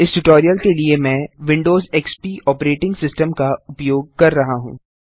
इस ट्यूटोरियल के लिए मैं विंडोज एक्सपी ऑपरेटिंग सिस्टम का उपयोग कर रहा हूँ